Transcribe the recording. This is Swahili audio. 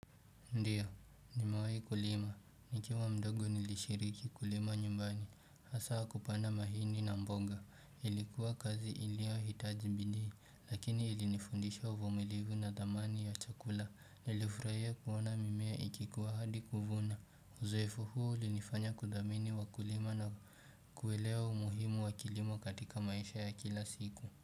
Ndiyo, nimewai kulima. Nikiwa mdogo nilishiriki kulima nyumbani. Hasa kupanda mahindi na mboga. Ilikuwa kazi iliohitaji bidii. Lakini ilinifundisha uvumilivu na dhamani ya chakula. Nilifurahia kuona mimea ikikuwa hadi kuvuna. Uzoefu huu ulinifanya kuthamini wakulima na kuelewa umuhimu wa kilimo katika maisha ya kila siku.